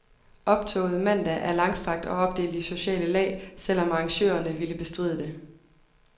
Optoget mandag er langstrakt og opdelt i sociale lag, selv om arrangørerne ville bestride det.